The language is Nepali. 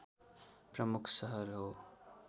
प्रमुख सहर हो